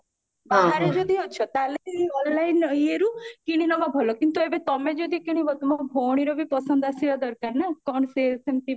ବାହାରେ ଯଦି ଅଛ ତାହେଲେ online ଇଏରୁ କିଣିନବା ଭଲ କିନ୍ତୁ ଏବେ ତମେ ଯଦି କିଣିବା ତମ ଭଉଣୀର ବି ପସନ୍ଦ ଆସିବା ଦରକାର ନା କଣ ସିଏ ସେମତି